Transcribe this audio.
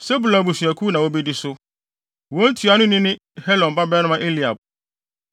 Sebulon abusuakuw na wobedi so. Wɔn ntuanoni ne Helon babarima Eliab.